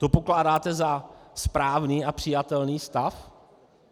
To pokládáte za správný a přijatelný stav?